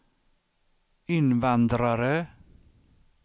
invandrare